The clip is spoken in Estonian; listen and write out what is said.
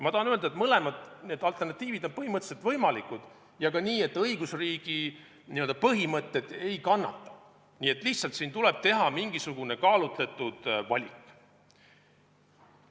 Ma tahan öelda, et mõlemad alternatiivid on põhimõtteliselt võimalikud ja ka niimoodi, et õigusriigi põhimõtted ei kannata, siin tuleb lihtsalt teha mingisugune kaalutletud valik.